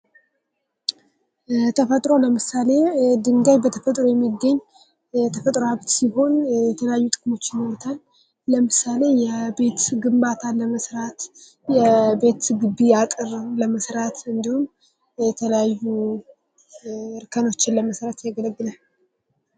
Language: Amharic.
ለተፈጥሮ ለምሳሌ ድንጋይ በተፈጥሮ የሚገኝ የተፈጥሮ ሃብት ሲሆን የተለያዩ ጥቅሞች ይኖሩታል ለምሳሌ የቤት ግንባታ ለመስራት የቤትግቢ አጠረን ለመስራት እንዲሁም የተለያዩ እርከኖችን ለመስራት ያገለግላል ::